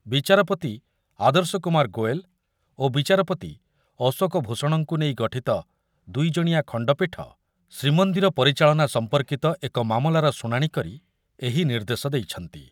ବିଚାରପତି ଆଦର୍ଶ କୁମାର ଗୋଏଲ୍ ଓ ବିଚାରପତି ଅଶୋକ ଭୂଷଣଙ୍କୁ ନେଇ ଗଠିତ ଦୁଇଜଣିଆ ଖଣ୍ଡପୀଠ ଶ୍ରୀମନ୍ଦିର ପରିଚାଳନା ସମ୍ପର୍କିତ ଏକ ମାମଲାର ଶୁଣାଣି କରି ଏହି ନିର୍ଦ୍ଦେଶ ଦେଇଛନ୍ତି